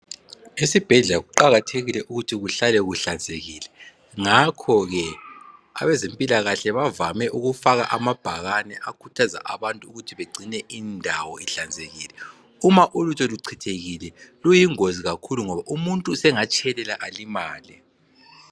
Esibhedlela kuqakathekile ukuthi kuhlale kuhlanzekile, ngakho ke abezempilakahle bavame ukufaka amabhakane akhuthaza abantu ukuthi begcine indawo ihlanzekile. Uma ulutho luchithekile luyingozi kakhulu ngoba umuntu sengatshelela alimale.